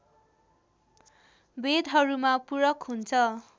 वेदहरूमा पूरक हुन्छ